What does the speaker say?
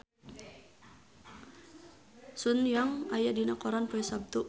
Sun Yang aya dina koran poe Saptu